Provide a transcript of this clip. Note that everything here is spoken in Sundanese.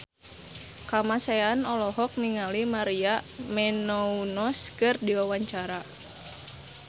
Kamasean olohok ningali Maria Menounos keur diwawancara